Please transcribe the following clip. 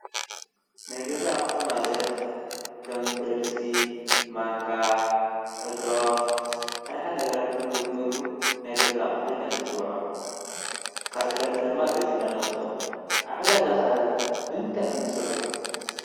ነገዛ ቝሕ ማለት ከም ብሬድስቲ ማንካ ዕትሮ ሓድኃድ ነገራ ከም ዘምንበሉ ነገዛ ቝሒ ል ናንጽውዖ ካብ ዕዳጋ ደማ ገዜአና ናምፅኦ ኣዕዕ ደጋኸ ብምንታይ ኣም ዝሥርኁ።